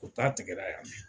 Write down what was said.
U ta tigɛra yan de.